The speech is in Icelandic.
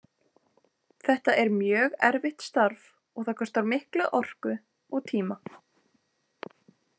Þetta er mjög erfitt starf og það kostar mikla orku og tíma.